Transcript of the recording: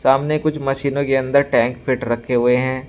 सामने कुछ मशीनों के अंदर टैंक फिट रखे हुए हैं।